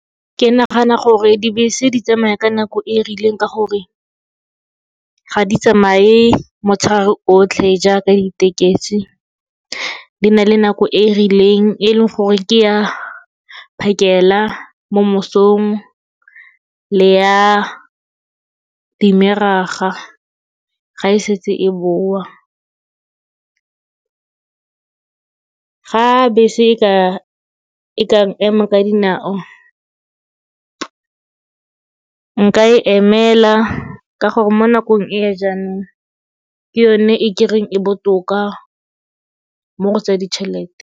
Ke nagana gore dibese di tsamaya ka nako e e rileng ka gore ga di tsamaye motshegare otlhe jaaka ditekesi, di na le nako e e rileng, e leng gore ke ya phakela mo mosong le ya di-middag-a ga e setse e boa. Ga bese e ka, e ka ema ka dinao, nka e emela ka gore mo nakong e ya jaanong, ke yone e kereng e botoka mo go tsa ditšhelete.